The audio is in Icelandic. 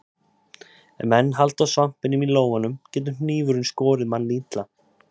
Ef menn halda á svampinum í lófanum getur hnífurinn skorið mann illa.